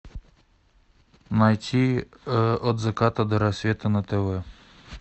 найти от заката до рассвета на тв